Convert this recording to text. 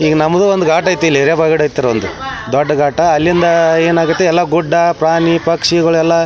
ಈಗ ನಮ್ಮದು ಒಂದು ಘಾಟ್ ಅಯತಿಲ್ಲಿ ಹಿರೇಬಗಡತ್ರ ಒಂದು ದೊಡ್ಡ ಗಾಟಾ ಅಲ್ಲಿಂದ ಏನ್ ಆಗೇತಿ ಗುಡ್ಡ ಪ್ರಾಣಿ ಪಕ್ಷಿಗಳು ಎಲ್ಲ --